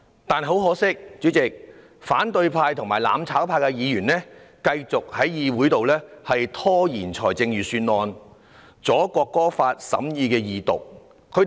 但很可惜，主席，反對派和"攬炒派"議員繼續在議會拖延預算案的審議程序，意欲阻礙《國歌條例草案》恢復二讀辯論。